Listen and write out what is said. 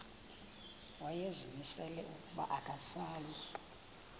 wayezimisele ukuba akasayi